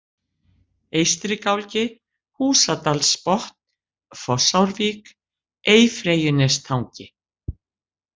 Eystri-Gálgi, Húsadalsbotn, Fossárvík, Eyfreyjunestangi